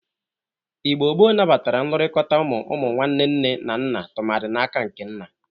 Igbo gboo nabatara nlụrịkọta ụmụ ụmụnwanne nne na nna tụmadị n'aka nke nna.